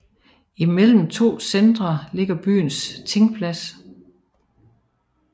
Imellem de to centre lå byens tingplads